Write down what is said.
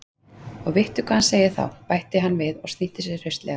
Og vittu hvað hann segir þá! bætti hann við og snýtti sér hraustlega.